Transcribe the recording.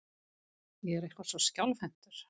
Ég er eitthvað svo skjálfhentur.